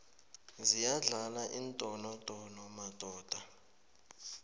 ziyadlala iindonodono madoda